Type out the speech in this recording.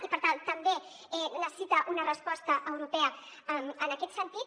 i per tant també necessita una resposta europea en aquest sentit